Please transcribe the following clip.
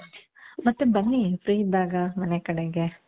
ಮತ್ತೆ ಬನ್ನಿ free ಇದ್ದಾಗ ಮನೆ ಕಡೆಗೆ